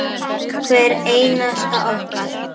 Hvert einasta okkar.